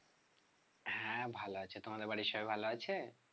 হ্যাঁ ভালো আছে তোমাদের বাড়ির সবাই ভালো আছে?